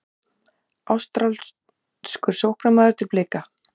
Ástralskur sóknarmaður til Blika